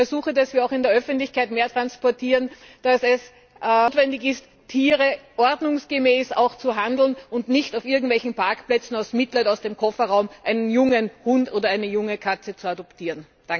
Und ich ersuche, dass wir auch in der Öffentlichkeit mehr transportieren, dass es notwendig ist, Tiere ordnungsgemäß zu handeln und nicht auf irgendwelchen Parkplätzen aus Mitleid aus dem Kofferraum einen jungen Hund oder eine junge Katze zu adoptieren.